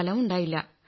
ഫലമുണ്ടായില്ല